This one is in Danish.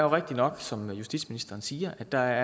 rigtig nok som justitsministerens siger at der